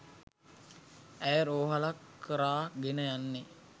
ඇය රෝහලක් කරා ගෙන යන්නේ